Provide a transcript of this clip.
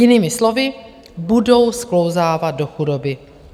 Jinými slovy, budou sklouzávat do chudoby.